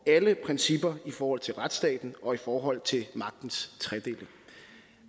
principper i forhold til retsstaten og i forhold til magtens tredeling